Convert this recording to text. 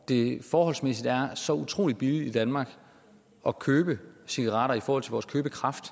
det forholdsmæssigt er så utrolig billigt i danmark at købe cigaretter i forhold til vores købekraft